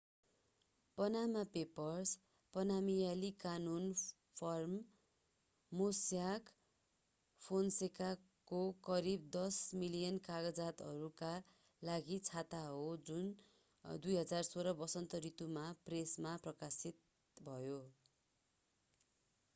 पानामा Papers पानामियाली कानून firm Mossack फोन्सेकाको करिब 10 मिलियन कागजातहरूका लागि छाता हो जुन 2016 वसन्त ऋतुमा प्रेसमा प्रकाशित भयो